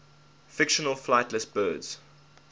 fictional flightless birds